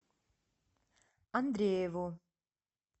андрееву